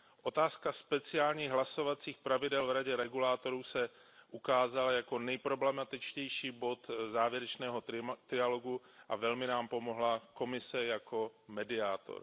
Otázka speciálních hlasovacích pravidel v radě regulátorů se ukázala jako nejproblematičtější bod závěrečného trialogu a velmi nám pomohla Komise jako mediátor.